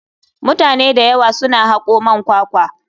Mutane da yawa suna hako man kwakwa.